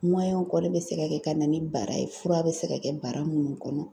ɔ dɛ bɛ se ka kɛ ka na ni bara ye fura bɛ se ka kɛ bara minnu kɔnɔ